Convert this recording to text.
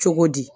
Cogo di